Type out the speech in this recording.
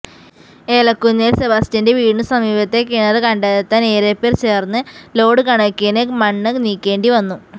ഏലകുന്നേല് സെബാസ്റ്റ്യന്റെ വീടിനു സമീപത്തെ കിണര് കണ്ടെത്താന് ഏറെപ്പേര് ചേര്ന്ന് ലോഡ് കണക്കിന് മണ്ണ് നീക്കേണ്ടിവന്നു